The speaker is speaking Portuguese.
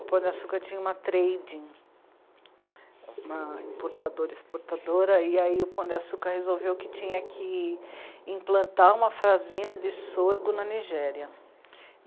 O Pão de Açúcar tinha uma trading, uma importadora e exportadora, e aí o Pão de Açúcar resolveu que tinha que implantar uma fazenda de sorgo na Nigéria.